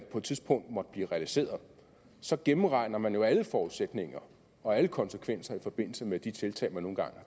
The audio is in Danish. på et tidspunkt måtte blive realiseret så gennemregner man alle forudsætninger og alle konsekvenser i forbindelse med de tiltag man nu engang